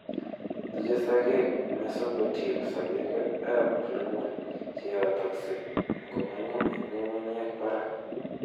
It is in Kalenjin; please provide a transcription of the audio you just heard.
Tuche mesocotyl sokeekab plumule cheyotokse ngomong'u en ngungunyeek barak